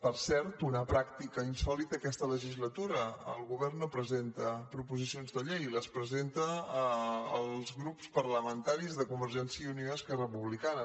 per cert una pràctica insòlita aquesta legislatura el govern no presenta pro·posicions de llei les presenten els grups parlamentaris de convergència i unió i esquerra republicana